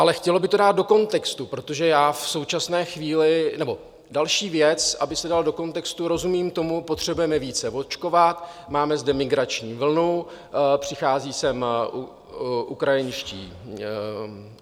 Ale chtělo by to dát do kontextu, protože já v současné chvíli... nebo další věc, aby se dal do kontextu - rozumím tomu, potřebujeme více očkovat, máme zde migrační vlnu, přichází sem ukrajinští...